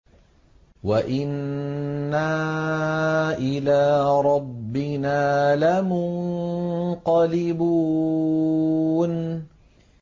وَإِنَّا إِلَىٰ رَبِّنَا لَمُنقَلِبُونَ